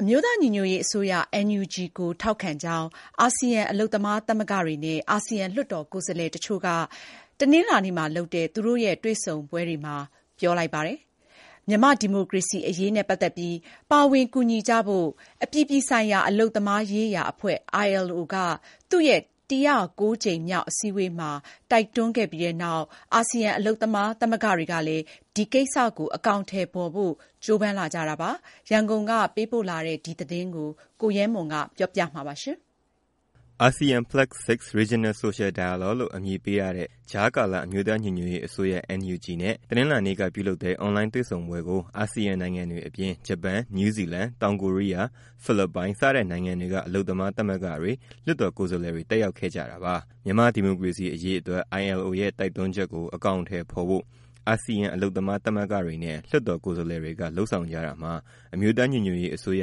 အမျိုးသားညီညွတ်ရေးအစိုးရ NUG ကိုထောက်ခံကြောင်း အာစီယံ အလုပ်သမားသမဂ္ဂတွေနဲ့ အာစီယံ လွှတ်တော်ကိုယ်စားလှယ်တချို့က တနင်္လာနေ့မှာလုပ်တဲ့ အွန်လိုင်းစည်းဝေးပွဲအတွင်း ပြောကြားလိုက်ပါတယ်။ မြန်မာ့ဒီမိုကရေစီအရေးနဲ့ပတ်သက်ပြီး ပါဝင်ကူညီကြဖို့ အပြည်ပြည်ဆိုင်ရာ အလုပ်သမားရေးရာအဖွဲ့ ILO က သူ့ရဲ့ ၁၀၉ ကြိမ်မြောက်အစည်းအဝေးမှာ တိုက်တွန်းခဲ့ပြီးတဲ့နောက် အာစီယံ အလုပ်သမားသဂ္ဂတွေကလည်း ဒီကိစ္စကို အကောင်အထည်ဖော်ဖို့ ကြိုးပမ်းလာကြတာပါ။ ရန်ကုန်ကပေးပို့တဲ့ ဒီသတင်းကိုတော့ ကိုရဲမွန် က ပြောပြပေးမှာပါ။ ASEAN +6 Regional Social Dialogue လို့ နာမည်ပေးထားတဲ့ ကြားကာလ အမျိုးသားညီညွတ်ရေးအစိုးရ NUG နဲ့ တနင်္လာနေ့က ပြုလုပ်လတဲ့ အွန်လိုင်းတွေ့ဆုံပွဲကို အာစီယံနိုင်ငံတွေအပြင် ဂျပန်၊ နယူးဇီလန်၊ တောင်ကိုရီးယား၊ ဖိလစ်ပိုင် စတဲ့နိုင်ငံတွေက အလုပ်သမားသမဂ္ဂတွေ၊ လွှတ်တော်ကိုယ်စားလှယ်တွေ တက်ရောက်ခဲ့ကြတာပါ။ မြန်မာ့ဒီမိုကရေစီအရေးတွက် ILO ရဲ့ တိုက်တွန်းချက်ကို အကောင်အထည်ဖော်ဖို့ အာစီယံ အလုပ်သမားသမဂ္ဂတွေနဲ့ လွှတ်တော် ကိုယ်စားလှယ်တွေက လုပ်ဆောင်ကြတာမှာ အမျိုးသားညီညွတ်ရေးအစိုးရ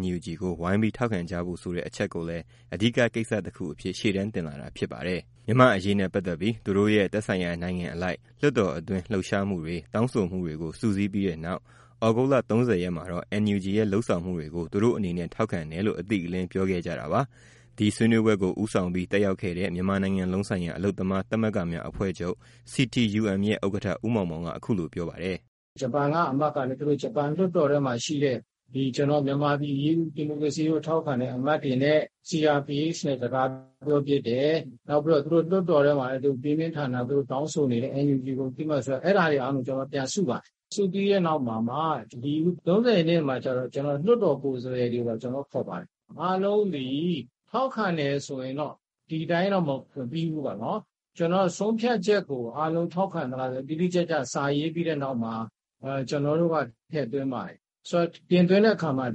NUG ကို ဝိုင်းပြီးထောက်ခံကြဖို့ဆိုတဲ့ အချက်ကိုလည်း အဓိကကိစ္စတခုအဖြစ် ရှေ့တန်းတင်လာတာ ဖြစ်ပါတယ်။ မြန်မာ့အရေးနဲ့ပတ်သက်ပြီး သူတို့ရဲ့ သက်ဆိုင်ရာနိုင်ငံအလိုက် လွှတ်တော်အတွင်း လှုပ်ရှားမှုတွေ၊ တောင်းဆိုမှုတွေကို စုစည်းပြီးတဲ့နောက် ဩဂုတ်လ ၃၀ ရက်မှာတော့ NUG ရဲ့လုပ်ဆောင်မှုတွေကို သူတို့အနေနဲ့ ထောက်ခံတယ်လို့ အတိအလင်း ပြောခဲ့ကြတာပါ။ ဒီဆွေးနွေးပွဲကို ဦးဆောင်ပြီး တက်ရောက်ခဲ့တဲ့ မြန်မာနိုင်ငံလုံးဆိုင်ရာ အလုပ်သမားသမဂ္ဂများအဖွဲ့ချုပ် CTUM ရဲ့ ဥက္ကဋ္ဌ ဦးမောင်မောင်က အခုလိုပြောပါတယ်။ “ ဂျပန်က လွှတ်တော်အမတ်ကလည်း သူတို့လွှတ်တော်ထဲမှာရှိတဲ့ မြန်မာ့ ဒီမိုကရေစီအရေးကို ထောက်ခံတဲ့ အမတ်တွေနဲ့ CRPH နဲ့ စကားပြောဖြစ်တယ်။ ပြီးတော့ သူတို့လွှတ်တော်ထဲမှာလည်း ပြင်းပြင်းထန်ထန် သူတို့တောင်းဆိုနေတယ် NUG ကိုအသိအမှတ်ပြုဖို့၊ အဲဒါတွေကို ကျနော်တို့က ပြန်စုပါတယ်။ စုပြီးတဲ့နောက် အခု ၃၀ ရက်နေ့မှာကျတော့ လွှတ်တော်ကိုယ်စားလှယ်တွေပါ ကျနော်တို့ခေါ်ပါတယ်။ အားလုံးသည် ထောက်ခံတယ်ဆိုရင် ဒီအတိုင်းတော့ မပြီးဘူးပေါ့နော်၊ ဆုံးဖြတ်ချက်ကို အားလုံး ထောက်ခံသလားဆိုတာ တိတိကျကျ စာရေးပြီးတဲ့နောက်မှာ ကျနော်တို့က ထည့်သွင်းပါတယ်။ ဆိုတော့ တင်သွင်းတဲ့အခါမှာ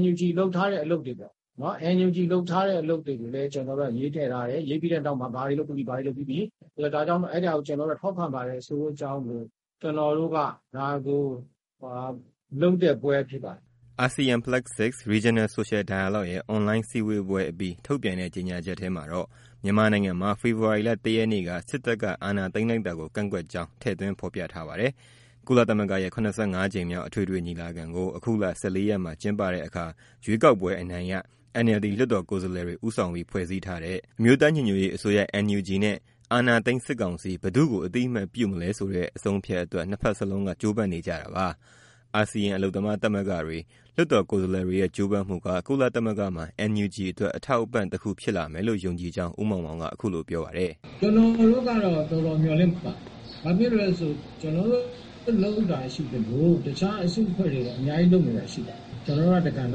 NUG လုပ်ထားတဲ့ အလုပ်တွေပေါ့နော် ကျနော်တို့က ရေးထည့်ထားတယ်၊ ရေးပြီးတဲ့နောက်မှာ ဘာတွေလုပ်ပြီးပြီ၊ ဘာတွေလုပ်ပြီးပြီ ဒါကြောင့်မို့ အဲဒါကို ထောက်ခံပါတယ် ဆိုတဲ့အကြောင်းကို ကျနော်တို့က လုပ်တဲ့ပွဲဖြစ်ပါတယ်။” ASEAN +6 Regional Social Dialogue ရဲ့ အွန်လိုင်းစည်းဝေးပွဲအပြီး ထုတ်ပြန်တဲ့ ကြေညာချက်ထဲမှာတော့ မြန်မာနိုင်ငံမှာ ဖေဖော်ဝါရီလ ၁ ရက်နေ့က စစ်တပ်က အာဏာသိမ်းလိုက်တာကို ကန့်ကွက်ကြောင်း ထည့်သွင်း ဖော်ပြထားပါတယ်။ ကုလသမဂ္ဂရဲ့ ၇၅ ကြိမ်မြောက် အထွေထွေညီလာခံကို အခုလ ၁၄ ရက်မှာ ကျင်းပတဲ့အခါ ရွေးကောက်ပွဲအနိုင်ရ NLD လွှတ်တော်ကိုယ်စားလှယ်တွေ ဦးဆောင်ပြီး ဖွဲ့စည်းထားတဲ့ အမျိုးသားညီညွတ်ရေးအစိုးရ NUG နဲ့ အာဏာသိမ်း စစ်ကောင်စီ ဘယ်သူ့ကို အသိအမှတ် ပြုမလဲဆိုတဲ့ အဆုံးအဖြတ်အတွက် နှစ်ဖက်လုံးက ကြိုးပမ်းနေကြတာပါ။ အာစီယံ အလုပ်သမားသမဂ္ဂတွေ၊ လွှတ်တော်ကိုယ်စားလှယ်တွေရဲ့ ကြိုးပမ်းမှုက ကုလသမဂ္ဂမှာ NUG အတွက် အထောက်အပံ့တခု ဖြစ်လာမယ်လို့ ယုံကြည်ကြောင်း ဦးမောင်မောင်က ပြောပါတယ်။ “ ကျနော်တို့ကတော့တော်တော် မျှော်လင့်ပါတယ်။ ကျနော်တို့လုပ်တာရှိသလို တခြားအစုအဖွဲ့တွေလည်း လုပ်တာရှိပါတယ်။ ကျနော်တို့က တကဏ္ဍ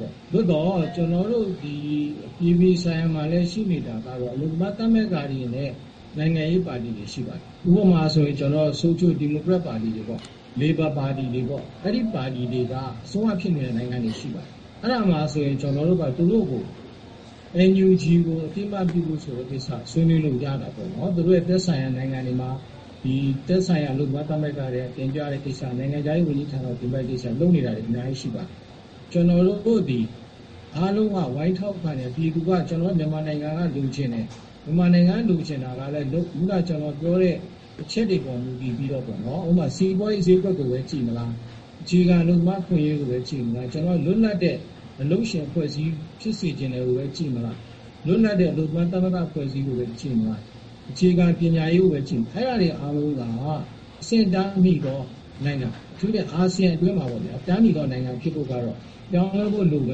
ပေါ့။ အပြည်ပြည်ဆိုင်ရာမှာလည်း အလုပ်သမား သမဂ္ဂတွေနဲ့ နိုင်ငံရေးပါတီတွေ ရှိပါတယ်။ ဥပမာ ဆိုရှယ်ဒီမိုကရက်ပါတီတွေ၊ လေဘာပါတီတွေ အဲဒီပါတီတွေက အစိုးရဖြစ်နေတဲ့ နိုင်ငံတွေ ရှိပါတယ်။ ကျနော်တို့က သူတို့ကို NUG ကို အသိအမှတ်ပြုဖို့ဆိုတဲ့ကိစ္စ ဆွေးနွေးလို့ရတာပေါ့၊ သူတို့ရဲ့ သက်ဆိုင်ရာ နိုင်ငံတွေမှာ သက်ဆိုင်ရာ အလုပ်သမားသမဂ္ဂတွေ တင်ပြတဲ့ကိစ္စ၊ အလုပ်သမား ဝန်ကြီးဌာနကို တင်ပြတဲ့ကိစ္စ လုပ်နေတာတွေ အများကြီရှိပါတယ်။ ကျနော်တို့သည် အားလုံးက ဝိုင်းထောက်ခံတာ မြန်မာနိုင်ငံက လိုချင်တယ်၊ ခုနက ကျနော်ပြောတဲ့ အချက်တွေပေါ် မူတည်ပြီးတော့ ဥပမာ စီပွားရေးဈေးကွက်ကိုပဲ ကြည့်မလား၊ အခြေခံအလုပ်သမား အခွင့်အရေးကိုပဲ ကြည့်မလား၊ လွတ်လပ်တဲ့ အလုပ်ရှင်၊ အလုပ်သမား သမဂ္ဂအဖွဲ့အစည်းကိုပဲ ကြည့်မလား၊ အခြေခံပညာရေးကိုပဲ ကြည့်မလား အဲဒါတွေအားလုံးက အဆင့်အတန်းမီသောနိုင်ငံ အထူးသဖြင့် အာစီယံအတွင်းမှာ အဆင့်အတန်းမီသော နိုင်ငံဖြစ်ဖို့က ပြောင်းလဲဖို့လိုတ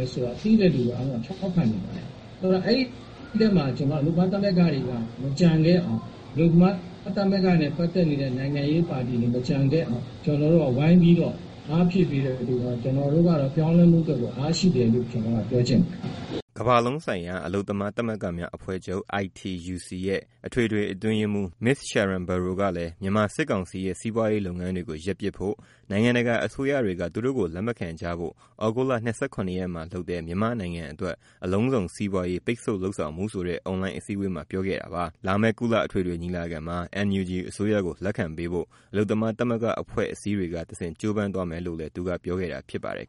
ယ်ဆိုတာ သိတဲ့လူအားလုံးက ထောက်ခံမှာပဲ။ အဲဒီမှာ ကျနော်က အလုပ်သမား သမဂ္ဂတွေပါ မကျန်ခဲ့အောင်၊ အလုပ်သမားသမဂ္ဂတွေနဲ့ ပတ်သက်တဲ့ နိုင်ငံရေးပါတီတွေ မကျန်ခဲ့အောင် ဝိုင်းပြီးအားဖြည့်ပေးတော့ ပြောင်းလဲမှုအတွက် အားဖြစ်တယ်လို့ ပြောချင်ပါတယ်။” ကမ္ဘာလုံးဆိုင်ရာ အလုပ်သမား သမဂ္ဂများအဖွဲ့ချုပ် ITUC အထွေထွေအတွင်းရေးမှူး Ms. Sharan Burrow ကလည်း မြန်မာစစ်ကောင်စီရဲ့ စီးပွားရေးလုပ်ငန်းတွေကို ရပ်ပစ်ဖို့၊ နိုင်ငံတကာအစိုးရတွေက သူတို့ကို လက်မခံကြဖို့ ဩဂုတ်လ ၂၇ ရက်မှာလုပ်တဲ့ မြန်မာ့နိုင်ငံအတွက် အလုံးစုံစီးပွားရေး ပိတ်ဆို့လုပ်ဆောင်မှုဆိုတဲ့ အွန်လိုင်းအစည်းအဝေးမှာ ပြောခဲ့တာပါ။ လာမယ့်ကုလ အထွေထွေညီလာခံမှာ NUG အစိုးရကို လက်ခံပေးဖို့ အလုပ်သမား သမဂ္ဂအဖွဲ့အစည်းတွေကဆင့် ကြိုးပမ်းသွားမယ်လို့လည်း သူကပြောခဲ့တာ ဖြစ်ပါတယ်